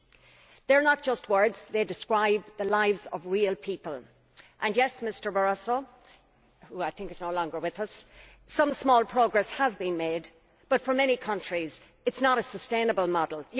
These are not just words, they describe the lives of real people and I would say to MrBarroso, who I think is no longer with us, that yes, some small progress has been made but for many countries it is not a sustainable model.